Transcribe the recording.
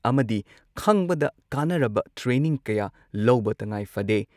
ꯑꯃꯗꯤ ꯈꯪꯕꯗ ꯀꯥꯟꯅꯔꯕ ꯇ꯭ꯔꯦꯅꯤꯡ ꯀꯌꯥ ꯂꯧꯕ ꯇꯉꯥꯏꯐꯗꯦ ꯫